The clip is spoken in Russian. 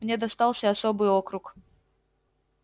мне достался особый округ